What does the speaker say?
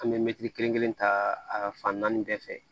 An bɛ mɛtiri kelen kelen ta a fan naani bɛɛ fɛ